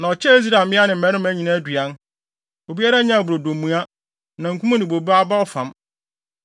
Na ɔkyɛɛ Israelfo mmea ne mmarima nyinaa aduan. Obiara nyaa brodo mua, namkum ne bobe aba ɔfam.